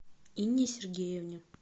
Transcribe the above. инне сергеевне